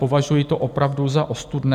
Považuji to opravdu za ostudné.